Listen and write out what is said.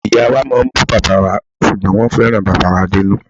Ìyáa wa máa ń bù bàbáa wa ṣùgbọ́n wọ́n fẹ́ràn bàbáà wa dénú.